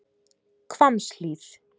Hvammshlíð